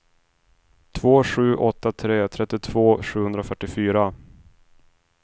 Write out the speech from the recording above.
två sju åtta tre trettiotvå sjuhundrafyrtiofyra